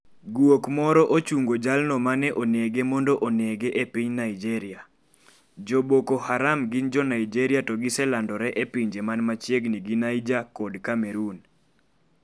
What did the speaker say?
Guok moro ochungo jalno mane onege mondo onege e piny Naijeria, jo Boko Haram gin jo Naijeria to giselandore e pinje man machiegni gi Niger kod Cameroon.